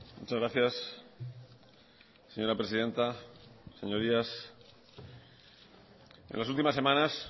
muchas gracias señora presidenta señorías en las últimas semanas